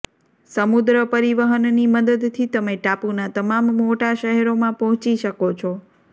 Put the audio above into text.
સમુદ્ર પરિવહનની મદદથી તમે ટાપુના તમામ મોટા શહેરોમાં પહોંચી શકો છો